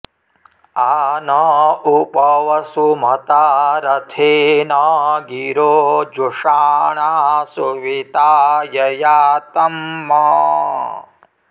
आ न॒ उप॒ वसु॑मता॒ रथे॑न॒ गिरो॑ जुषा॒णा सु॑वि॒ताय॑ यातम्